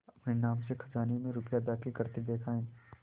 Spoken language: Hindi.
अपने नाम से खजाने में रुपया दाखिल करते देखा है